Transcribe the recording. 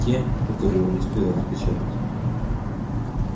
те которые он успел распечатать